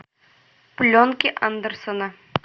пленки андерсона